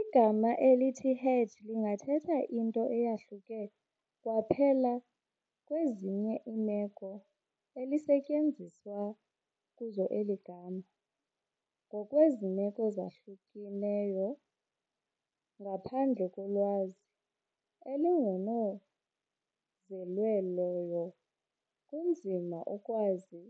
Igama elithi "hedge" lingathetha into eyahluke kwaphela kwezinye iimeko elisetyenziswa kuzo eli gama, ngokwezi meko zahlukeneyo. Ngaphandle kolwazi olongezelelweyo kunzima ukwazi